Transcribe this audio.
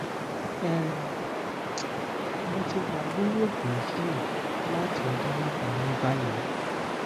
um mo ti wa lori oogun yii lati ọjọ mẹta ni bayi